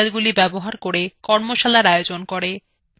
spoken tutorials ব্যবহার করে কর্মশালার আয়োজন করে